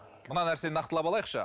мына нәрсені нақтылап алайықшы